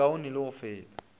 e kaone le go feta